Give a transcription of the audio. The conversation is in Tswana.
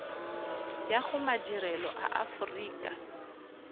ya go madirelo a aforika